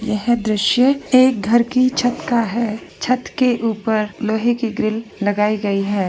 यह दर्शय एक घर की छत का है छत के ऊपर लोहे की ग्रिल लगाई गई है।